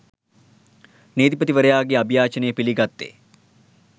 නීතිපතිවරයාගේ අභියාචනය පිළිගත්තේ